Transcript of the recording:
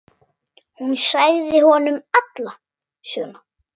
Hún sagði honum alla söguna.